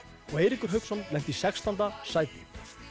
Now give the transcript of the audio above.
og Eiríkur Hauksson lentu í sextánda sæti